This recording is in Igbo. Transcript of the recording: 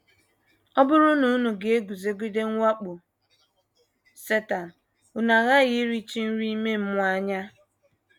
Ọ bụrụ na unu ga - eguzogide mwakpo Setan, unu aghaghị irichi nri ime mmụọ anya.